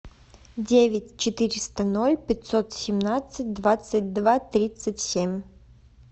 девять четыреста ноль пятьсот семнадцать двадцать два тридцать семь